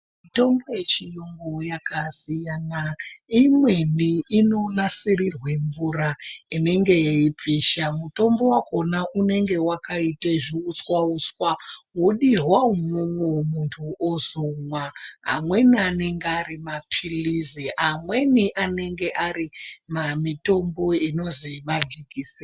Mitombo yechiyungu yakasiyana imweni inonasirirwa mvura inenge yeipisha mutombo wakona unenge wakita zviuswa uswa wodirwa umwo munthu ozomwa amweni anenge ari mapirizi amweni anenge ari mamitombo inozi majekiseni.